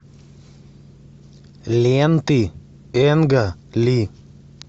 ленты энга ли